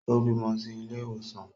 Ó bímọ sí ilé ìwòsàn